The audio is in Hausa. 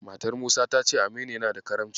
Matar Musa ta ce Aminu yana da Karamci.